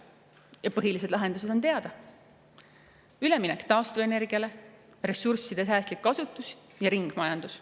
Ja põhilised lahendused selleks on meile teada: üleminek taastuvenergiale, ressursside säästlik kasutus ja ringmajandus.